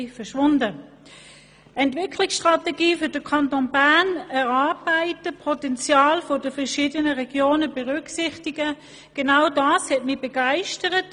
Das Erarbeiten einer Entwicklungsstrategie für den Kanton Bern unter Berücksichtigung des Potenzials der verschiedenen Regionen, hat mich begeistert.